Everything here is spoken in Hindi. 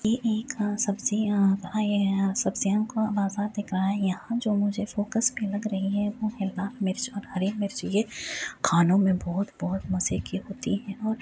यह एक आ सब्जियां आए है यहाँ सब्जियों का बाजार दिख रहा हैयहाँ जो मुझे फोकस लग रही हैं वह हैं लाल मिर्च और हरे मिर्च । ये खानों में बहुत-बहुत मजे के होती हैं।